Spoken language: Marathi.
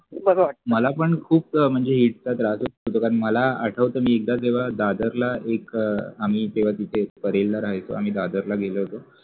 मला पण खूप म्हणजे इतका त्रास होतो कारण मला आठवतंय मी एकदा जेव्हा दादरला एक आम्ही तेव्हा तिथे परेल राहायचो आम्ही दादरला गेलो होतो.